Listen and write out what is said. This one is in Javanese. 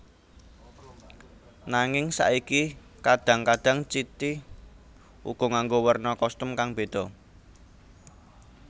Nanging saiki kadhang kadhang City uga nganggo werna kostum kang beda